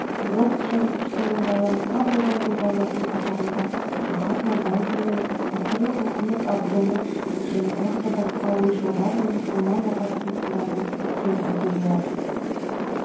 орыс жазушысымен байланыста болған тұлғалардың қатарында махатма ганди мен мысырлық мухаммед абдоны және тағы да басқа ойшылдар мен мұсылман ағартушыларын келтіруге болады